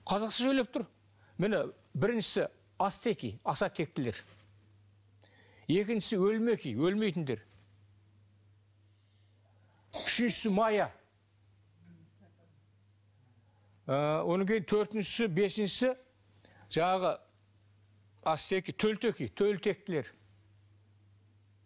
қазақша сөйлеп тұр міне біріншісі ацтеки аса тектілер екіншісі өлмеки өлмейтіндер үшіншісі мая ы одан кейін төртіншісі бесіншісі жаңағы ацтеки төлтеки төл тектілер